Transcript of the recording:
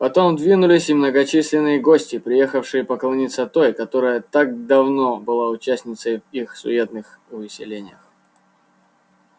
потом двинулись и многочисленные гости приехавшие поклониться той которая так давно была участницею их суетных увеселениях